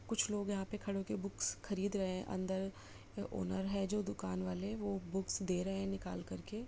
कुछ लोग यहाँ पे खड़े होके बुक्स खरीद रहै हैं अन्दर ओनर है जो दुकान वाले वो बुक्स दे रहै हैं निकाल करके।